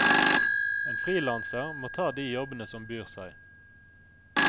En frilanser må ta de jobbene som byr seg.